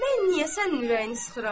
Mən niyə sənin ürəyini sıxıram?